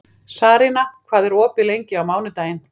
Sarína, hvað er opið lengi á mánudaginn?